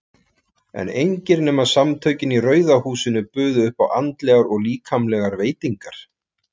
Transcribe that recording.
En engir nema Samtökin í Rauða húsinu buðu upp á andlegar og líkamlegar veitingar.